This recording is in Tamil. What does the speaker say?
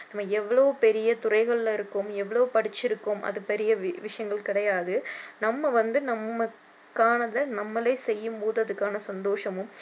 நம்ம எவ்வளோ பெரிய துறைகளில இருக்கோம் எவ்வளோ படிச்சி இருக்கோம் அது பெரிய விஷயங்கள் கிடையாது நம்ம வந்து நமக்கானத நம்மலே செய்யும் போது அதுக்கான சந்தோஷமும்